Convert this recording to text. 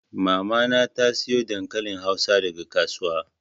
Mama na ta sayo dankalin hausa daga kasuwa.